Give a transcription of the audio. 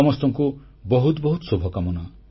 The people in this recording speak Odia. ସମସ୍ତଙ୍କୁ ବହୁତ ବହୁତ ଶୁଭକାମନା